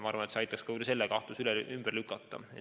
Ma arvan, et see aitaks võib-olla ka selle kahtluse ümber lükata.